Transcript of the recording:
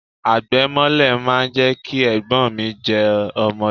Àgbẹ̀ mọ́lẹ̀ máa ń jẹ́ kí Ẹ̀gbọ́n mi jọ ọmọdé.